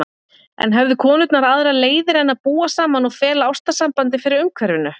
En höfðu konurnar aðrar leiðir en að búa saman og fela ástarsambandið fyrir umhverfinu?